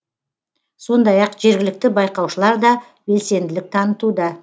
сондай ақ жергілікті байқаушылар да белсенділік танытуда